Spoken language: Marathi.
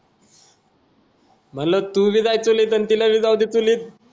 म्हणलं तू भी जाय चुलीत अन ती ला भी जाऊदे चुलीत